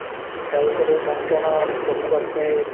তাৰ পিছতে ভেঙ্কানাল, জম্মু কাশ্মীৰ